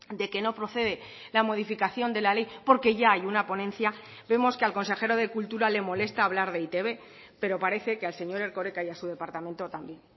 de que no procede la modificación de la ley porque ya hay una ponencia vemos que al consejero de cultura le molesta hablar de e i te be pero parece que al señor erkoreka y a su departamento también